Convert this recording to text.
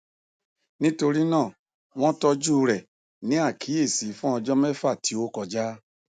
nitorinaa wọn tọju rẹ ni akiyesi fun ọjọ mẹfa ti o kọja